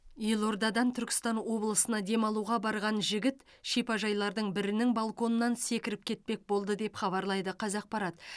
елордадан түркістан облысына демалуға барған жігіт шипажайлардың бірінің балконынан секіріп кетпек болды деп хабарлайды қазақпарат